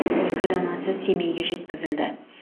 ілкі данасы семейге жеткізілді